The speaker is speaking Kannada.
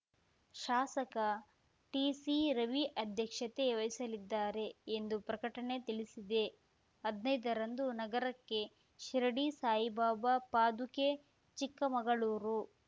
ಶಾಸಕ ಟಿಸಿ ರವಿ ಅಧ್ಯಕ್ಷತೆ ವಹಿಸಲಿದ್ದಾರೆ ಎಂದು ಪ್ರಕಟಣೆ ತಿಳಿಸಿದೆ ಹದ್ನೈದರಂದು ನಗರಕ್ಕೆ ಶಿರಡಿ ಸಾಯಿಬಾಬಾ ಪಾದುಕೆ ಚಿಕ್ಕಮಗಳೂರು